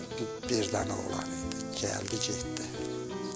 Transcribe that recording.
Seymur birdən oğlan idi, gəldi, getdi.